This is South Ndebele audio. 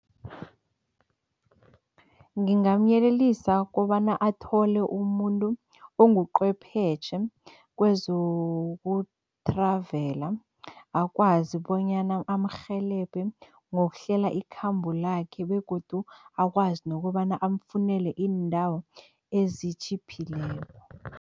Ngingamyelelisa kobana athole umuntu onguqhwephetjhe kwezoku-travel, akwazi bonyana amrhelebhe ngokuhlela ikhambo lakhe begodu akwazi nokobana amfunele iindawo ezitjhiphileko.